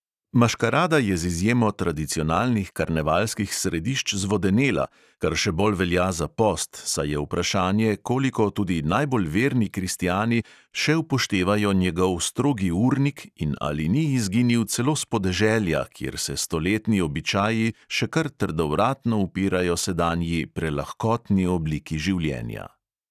Maškarada je z izjemo tradicionalnih karnevalski središč zvodenela, kar še bolj velja za post, saj je vprašanje, koliko tudi najbolj verni kristjani še upoštevajo njegov strogi urnik in ali ni izginil celo s podeželja, kjer se stoletni običaji še kar trdovratno upirajo sedanji prelahkotni obliki življenja.